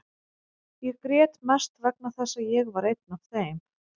Ég grét mest vegna þess að ég var einn af þeim.